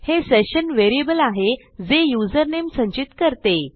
हे session variable आहे जे युजरनेम संचित करते